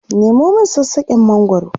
Nemo min sassaken mangwaro!